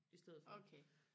okay